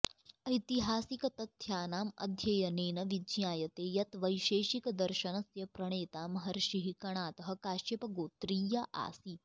ऐतिहासिकतथ्यानाम् अध्ययनेन विज्ञायते यत् वैशेषिकदर्शनस्य प्रणेता महर्षिः कणादः काश्यपगोत्रीय आसीत्